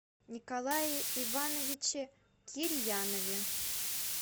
николае ивановиче кирьянове